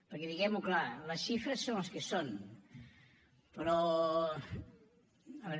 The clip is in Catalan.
perquè diguem ho clar les xifres són les que són però a veure